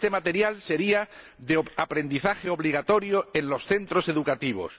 Este material sería de aprendizaje obligatorio en los centros educativos.